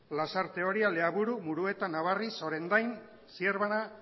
lasarte oria leaburu murueta nabarniz orendain zierbana